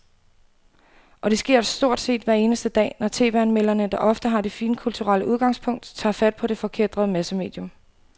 Og det sker stort set hver eneste dag, når tv-anmelderne, der ofte har det finkulturelle udgangspunkt, tager fat på det forkætrede massemedium.